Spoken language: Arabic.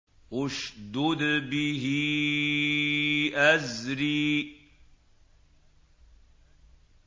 اشْدُدْ بِهِ أَزْرِي